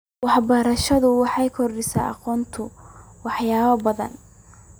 Waxbarashadu waxay kordhisaa aqoontayada waxyaabo badan.